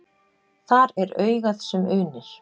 Þar er augað sem unir.